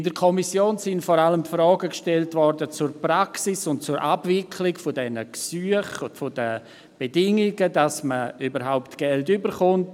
In der Kommission wurden vor allem Fragen zur Praxis und Abwicklung der Gesuche gestellt sowie zu den Bedingungen, damit man überhaupt Geld erhält.